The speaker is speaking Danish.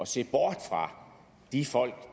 se bort fra de folk